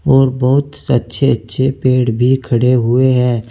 और बहुत सच्चे अच्छे पेड़ भी खड़े हुए हैं।